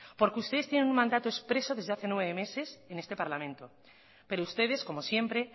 porque ustedes tienen un mandato expreso desde hace nueve meses en este parlamento pero ustedes como siempre